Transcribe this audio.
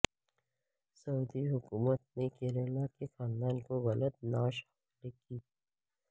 سعودی حکومت نے کیرالا کے خاندان کو غلط نعش حوالے کی